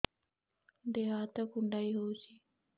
ଦେହ ହାତ କୁଣ୍ଡାଇ ହଉଛି